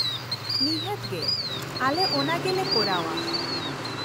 ᱱᱤᱷᱟᱹᱛ ᱜᱮ, ᱟᱞᱮ ᱚᱱᱟ ᱜᱮᱞᱮ ᱠᱚᱨᱟᱣᱼᱟ ᱾